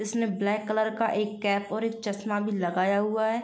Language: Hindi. इसमें ब्लैक कलर का एक कैप और एक चश्मा भी लगाया हुआ है।